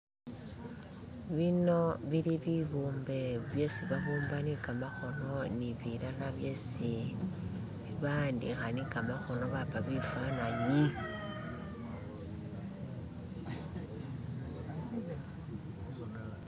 <"skip>" bino bili bibumbe byesi babumba ni kamakhono ni bilala byesi baandikha ni kamakhono bapa bifananyi <"skip>".